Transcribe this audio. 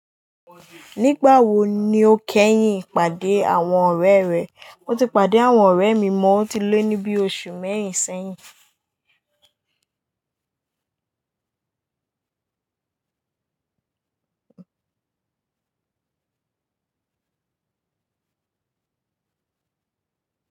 Nígbà wo ni ó kẹ́yìn pàdé àwọn ọ̀rẹ́ rẹ̀? Mo ti pàdé àwọn ọ̀rẹ́ mi mọ́, o ti lé ní bí i oṣù mẹ́rìn sẹ́yìn.